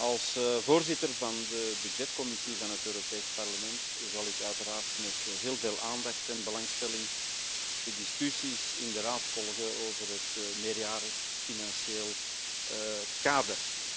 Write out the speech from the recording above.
Als voorzitter van de Begrotingscommissie van het Europees Parlement zal ik uiteraard met heel veel aandacht en belangstelling de discussies in de Raad volgen over het meerjarig financieel kader.